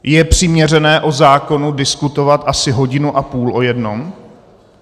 Je přiměřené o zákonu diskutovat asi hodinu a půl o jednom?